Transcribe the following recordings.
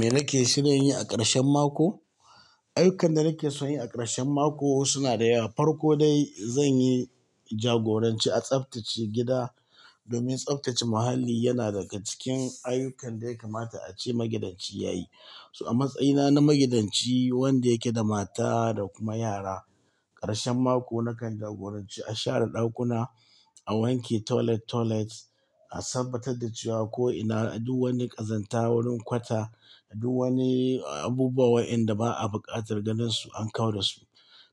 Me nake shirin yi a ƙarshen mako? Ayyukan da nake so in yi a ƙarshen mako suna da yawa. Farko dai, zan yi jagoranci a tsaftace gida domin tsaftace muhalli yana daga cikin ayyukan da ya kamata a ce magidanci ya yi. To, a matsayina na magidanci, wanda yake da mata da kuma yara, ƙarshen mako nakan jagoranci a share ɗakuna, a wanke toilet toilet, a tabbatar da cewa ko ina du wani ƙazanta wurin kwata, du wani abubuwa wa'inda ba a buƙatar ganinsu an kau da su.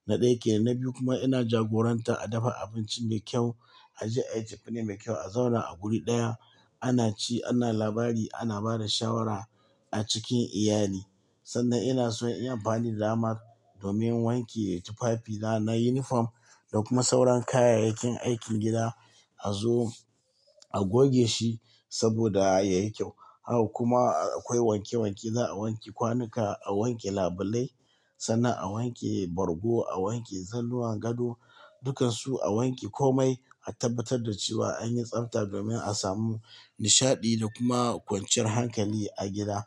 Na ɗaya ke. Na biyu kuma ina jagoranta a dafa abinci mai kyau, a je ayi cefane mai kyau, a zauna a guri ɗaya, ana ci, ana labari, ana ba da shawara a cikin iyali. Sannan ina so in yi amfani da damar domin wanke tufafina na unifoam da kuma sauran kayayyakin aikin gida. A zo a goge shi saboda yai kyau. Haka kuma akwai wanke wanke. Za'a wanke kwanuka, a wanke labulai, sannan a wanke bargo, a wanke zannuwan gado, dukan su a wanke komai, a tabbatar da cewa an yi tsabta domin a samu nishaɗi da kuma kwanciyar hankali a gida.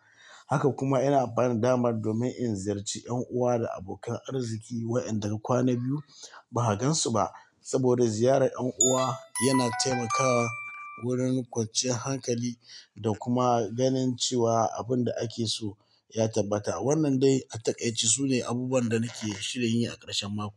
Haka kuma ina amfani da damar domin in ziyarci ƴan'uwa da abokan arziki wa'inda kwana biyu ba a gansu ba. Saboda ziyarar ƴan'uwa yana taimakawa wurin kwanciyar hankali da kuma ganin cewa abun da ake so ya tabbata. Wannan dai a taƙaice su ne abubuwan da nake shirin yi a ƙarshen mako.